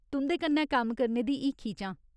तुं'दे कन्नै कम्म करने दी हीखी च आं।